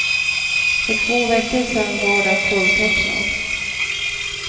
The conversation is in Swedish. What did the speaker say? För två veckor sedan var den fulltecknad.